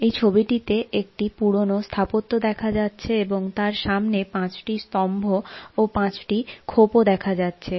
এই ছবিটিতে একটি পুরোনো স্থাপত্য দেখা যাচ্ছে এবং তার সামনে পাঁচটি স্তম্ভ ও পাঁচটি খোপ ও দেখা যাচ্ছে।